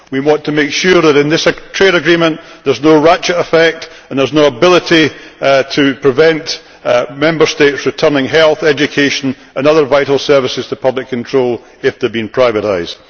We want to make sure that in this trade agreement there is no ratchet effect and there is no ability to prevent Member States returning health, education and other vital services to public control if they have been privatised.